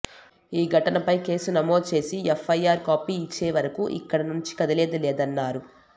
ఈ ఘటనపై కేసు నమోదు చేసి ఎఫ్ఐఆర్ కాపీ ఇచ్చేవరకు ఇక్కడ నుంచి కదిలేది లేదన్నారు